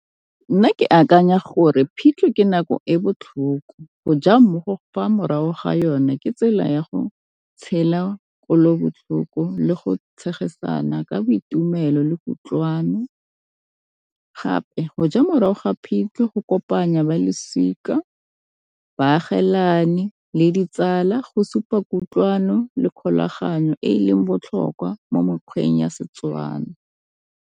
Nna ke akanya gore phitlho ke nako e botlhoko go ja mmogo fa morago ga yone ke tsela ya go tshela botlhoko le go tshegetsana ka boitumelo le kutlwano, gape go ja morago ga phitlho go kopanya ba losika, baagelani, le ditsala go supa kutlwano le kgolaganyo e leng botlhokwa mo mokgweng ya Setswana.